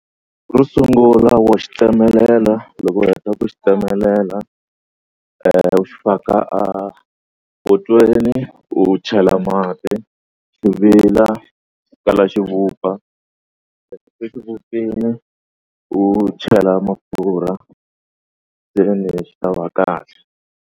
Xo sungula wa xi tsemelela loko u heta ku xi tsemelela u xi faka a potweni u chela mati xi vila ku kala xi vupfa. Loko se xi vupfile u chela mafurha seni xi ta va kahle.